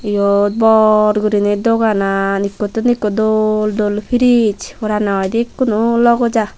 iyot bor guriney doganan ekkottun ekku dol dol fridge poraney hoidey ekkunu logoi ja.